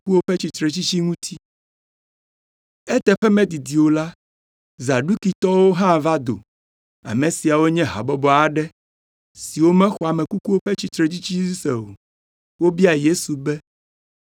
Eteƒe medidi o la, Zadukitɔwo hã va do. Ame siawo nye habɔbɔ aɖe, siwo mexɔ ame kukuwo ƒe tsitretsitsi dzi se o. Wobia Yesu be,